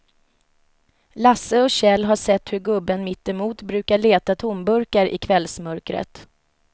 Lasse och Kjell har sett hur gubben mittemot brukar leta tomburkar i kvällsmörkret.